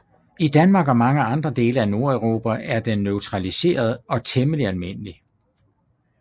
I Danmark og mange andre dele af Nordeuropa er den naturaliseret og temmelig almindelig